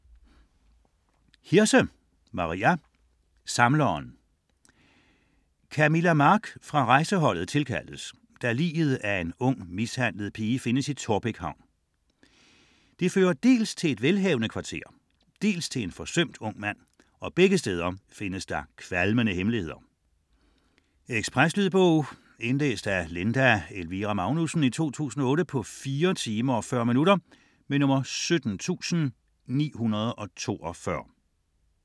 Hirse, Maria: Samleren Camilla Mark fra rejseholdet tilkaldes, da liget af en ung mishandlet pige findes i Taarbæk Havn. Det fører dels til et velhavende kvarter, dels til en forsømt ung mand, og begge steder findes der kvalmende hemmeligheder. Lydbog 17942 Indlæst af Linda Elvira Magnussen, 2008. Spilletid: 4 timer, 40 minutter. Ekspresbog